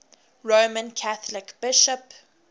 roman catholic bishop